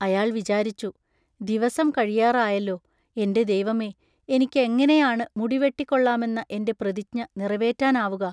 അയാൾ വിചാരിച്ചു: ദിവസം കഴിയാറായല്ലോ. എൻ്റെ ദൈവമേ, എനിക്കെങ്ങനെയാണ് മുടിവെട്ടിക്കൊള്ളാമെന്ന എൻ്റെ പ്രതിജ്ഞ നിറവേറ്റാനാവുക?